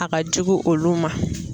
A ka jugu olu ma.